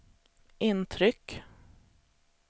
intryck